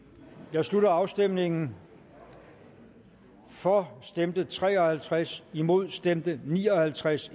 jeg slutter afstemningen for stemte tre og halvtreds imod stemte ni og halvtreds